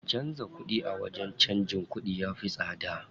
Canza kuɗi a wajen canjin kuɗi ya fi tsada.